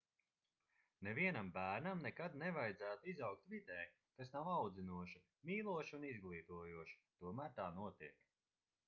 nevienam bērnam nekad nevajadzētu izaugt vidē kas nav audzinoša mīloša un izglītojoša tomēr tā notiek